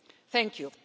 Thank you.